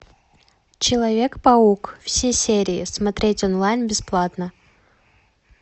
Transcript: человек паук все серии смотреть онлайн бесплатно